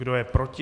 Kdo je proti?